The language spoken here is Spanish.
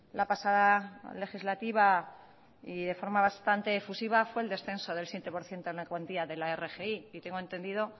la pasada legislativa y de forma bastantes efusiva fue el descenso del siete por ciento en la cuantía de la rgi y tengo entendido